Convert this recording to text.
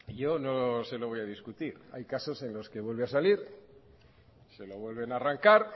yo no se lo voy a discutir hay casos en los que vuelve a salir se lo vuelven a arrancar